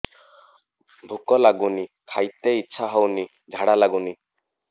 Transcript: ଭୁକ ଲାଗୁନି ଖାଇତେ ଇଛା ହଉନି ଝାଡ଼ା ଲାଗୁନି